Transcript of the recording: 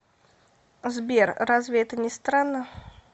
сбер разве это не странно